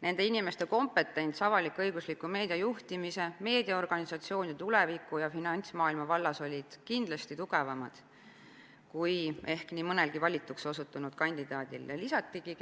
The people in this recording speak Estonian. Nende inimeste kompetents avalik-õigusliku meedia juhtimise, meediaorganisatsiooni tuleviku ja finantsmaailma vallas oli kindlasti tugevam kui ehk nii mõnelgi valituks osutunud kandidaadil,